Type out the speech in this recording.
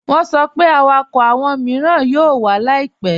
Wọ́n sọ pé àwákọ́ awọn miiràn yóò wà láìpẹ̀.